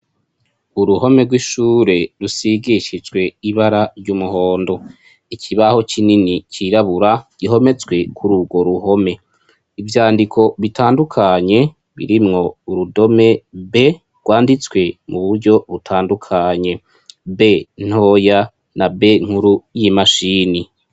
Uruhome rw'ishure rusigishijwe ibara ry'umuhondo ikibaho kinini c'irabura gihometswe kururwo ruhome ivyandiko bitandukanye birimwo urudome B rwanditswe mu buryo butandukanye "b"ntoya na "B"nkuru y'imashini.